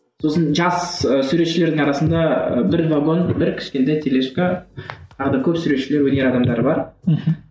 сосын жас ы суретшілердің арасында бір вагон бір кішкентай тележка тағы да көп суретшілер өнер адамдары бар мхм